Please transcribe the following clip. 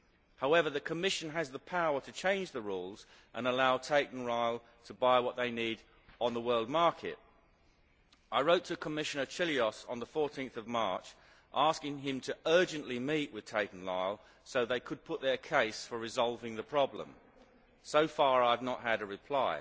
However, the Commission has the power to change the rules and allow Tate and Lyle to buy what they need on the world market. I wrote to Commissioner Cioloş on 14 March asking him to urgently meet with Tate and Lyle so they could put their case for resolving the problem. So far I have not had a reply.